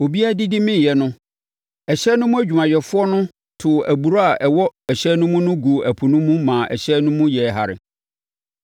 Obiara didi meeɛ no, ɛhyɛn no mu adwumayɛfoɔ no too aburoo a ɛwɔ ɛhyɛn no mu no guu ɛpo no mu ma ɛhyɛn no mu yɛɛ hare.